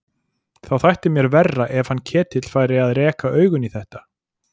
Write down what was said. Þá þætti mér verra ef hann Ketill færi að reka augun í þetta.